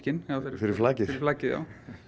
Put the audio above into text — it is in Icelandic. fyrir flakið flakið